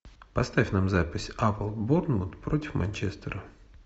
поставь нам запись апл борнмут против манчестера